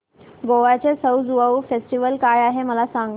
गोव्याचा सउ ज्युआउ फेस्टिवल काय आहे मला सांग